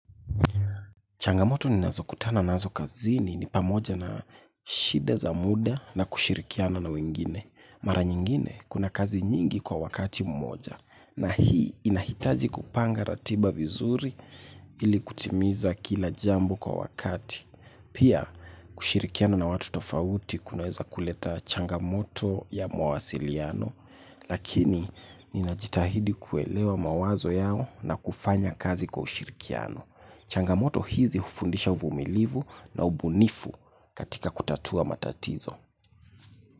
Changamoto ninazo kutana nazo kazini ni pamoja na shida za muda na kushirikiana na wengine. Mara nyingine, kuna kazi nyingi kwa wakati mmoja. Na hii, inahitaji kupanga ratiba vizuri ili kutimiza kila jambo kwa wakati. Pia, kushirikiana na watu tofauti kunaweza kuleta changamoto ya mawasiliano. Lakini, ninajitahidi kuelewa mawazo yao na kufanya kazi kwa ushirikiano. Changamoto hizi ufundisha uvumilivu na ubunifu katika kutatua matatizo.